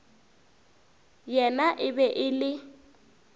yena e be e le